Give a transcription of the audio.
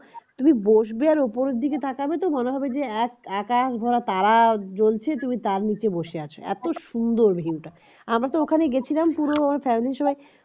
তুমি বসবে আর ওপরের দিকে তাকাবে তো মনে হবে যে এক আকাশ ভরা তারা জ্বলছে তুমি তার নিচে বসে আছো এত সুন্দর view টা আমি তো ওখানে গেছিলাম পুরো family সবাই